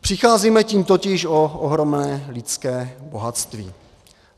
Přicházíme tím totiž o ohromné lidské bohatství.